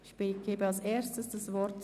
Ich erteile zuerst Grossrat Jost das Wort.